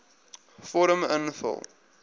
vorm invul